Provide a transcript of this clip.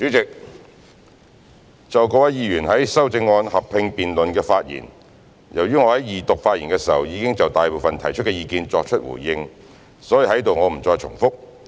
代理主席，就各位議員在修正案合併辯論的發言，由於我在二讀發言時已就大部分提出的意見作出回應，所以在此我不再重複。